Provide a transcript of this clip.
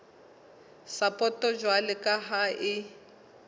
sapoto jwalo ka ha e